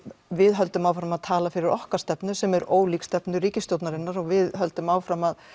við höldum áfram að tala fyrir okkar stefnu sem er ólík stefnu ríkisstjórnarinnar og við höldum áfram að